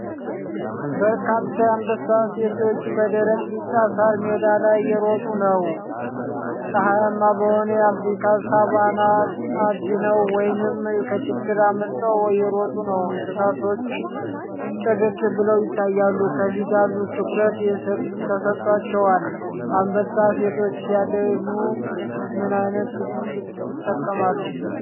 በርካታ የአንበሳ ሴቶች በደረቅ ቢጫ ሣር ሜዳ ላይ እየሮጡ ነው። ፀሐይማ በሆነ የአፍሪካ ሳቫና አድነው ወይንም ከችግር አምልጠው እየሮጡ ነው። እንስሳቶቹ ጥርት ብለው ይታያሉ፣ ከፊት ያሉት ትኩረት ተሰጥቷቸዋል። አንበሳ ሴቶች ሲያድኑ ምን አይነት ስልት ይጠቀማሉ?